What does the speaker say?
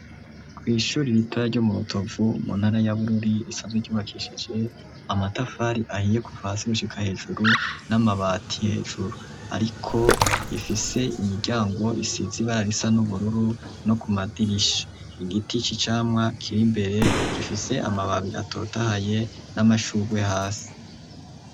Kw'ishuri ibitara ryo muutovu mu ntara yabururi isazwe ryubakishije amatafari ahiye ku pfansaigushika hejuru n'amabati hejuru, ariko ifise imiryango isizi ibararisa n'ubururu no ku madirisha igiti iki camwa kiri imbere gifise amababi atotahaye n'amashura ugwe hasi.